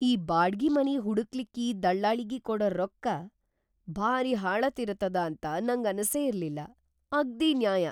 ಈ ಬಾಡ್ಗಿ ಮನಿ ಹುಡಕ್ಲಿಕ್ಕಿ ದಳ್ಳಾಳಿಗಿ ಕೊಡ ರೊಕ್ಕ ಭಾರೀ ಹಾಳತಿರತದ ಅಂತ ನಂಗನಸೇ ಇರ್ಲಿಲ್ಲ, ಅಗ್ದೀ ನ್ಯಾಯ!